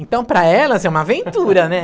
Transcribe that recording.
Então, para elas é uma aventura, né?